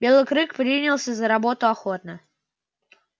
белый клык принялся за работу охотно